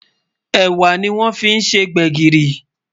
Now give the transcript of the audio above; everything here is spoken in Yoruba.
ẹwà ní wón fí ṣé gbègirí